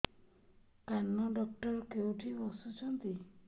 କାନ ଡକ୍ଟର କୋଉଠି ବସୁଛନ୍ତି